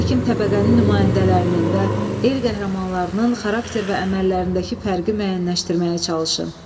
Hakim təbəqənin nümayəndələrinin və el qəhrəmanlarının xarakter və əməllərindəki fərqi müəyyənləşdirməyə çalışın.